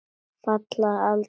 Falla aldrei frá.